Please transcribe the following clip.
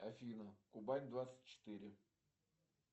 афина убавь двадцать четыре